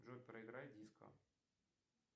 джой проиграй диско